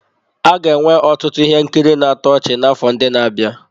A ga-enwe ọtụtụ ihe nkiri na-atọ ọchị n'afọ ndị na-abịa.